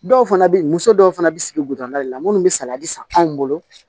Dɔw fana bɛ muso dɔw fana bɛ sigi la munnu bɛ salati san anw bolo